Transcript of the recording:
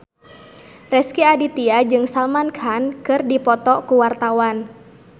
Rezky Aditya jeung Salman Khan keur dipoto ku wartawan